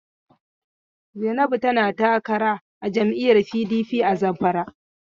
Zainabu tana takara a jam'lyyar PDP a Zamfara.